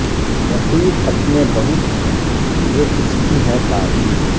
رقیب اپنے بہت ہیں یہ اس کی ہے تعبیر